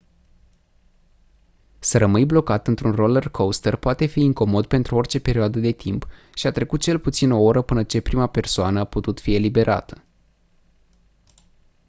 să rămâni blocat într-un roller-coaster poate fi incomod pentru orice perioadă de timp și a trecut cel puțin o oră până ce prima persoană a putut fi eliberată